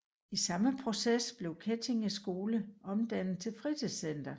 I samme proces blev Kettige Skole omdannet til fritidscenter